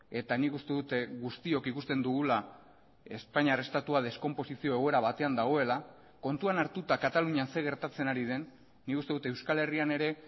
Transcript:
eta nik uste dut guztiok ikusten dugula espainiar estatua deskonposizio egoera batean dagoela kontuan hartuta katalunian zer gertatzen ari den nik uste dut euskal herrian ere